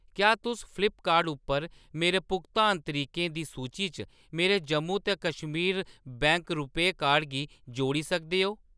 क्या तुस फ्लिपकार्ट उप्पर मेरे भुगतान तरीकें दी सूची च मेरे जम्मू ते कश्मीर बैंक रूपेऽ कार्ड गी जोड़ी सकदे ओ ?